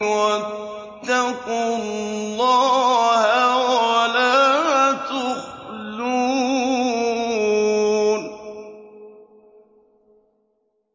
وَاتَّقُوا اللَّهَ وَلَا تُخْزُونِ